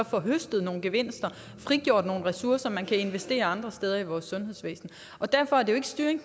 få høstet nogle gevinster og frigjort nogle ressourcer man kan investere andre steder i vores sundhedsvæsen derfor